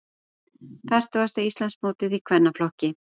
Fertugasta Íslandsmótið í kvennaflokki